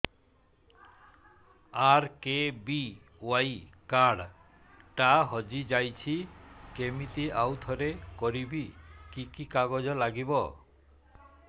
RKBY card ଟା ହଜିଯାଇଛି କିମିତି ଆଉଥରେ କରିବି କି କି କାଗଜ ଲାଗିବ